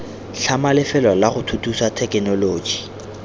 tlhama lefelo lago thuthusa thekenoloji